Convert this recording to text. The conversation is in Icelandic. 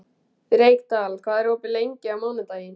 Reykdal, hvað er opið lengi á mánudaginn?